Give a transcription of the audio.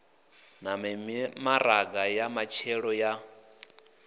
na mimaraga ya matshelo ya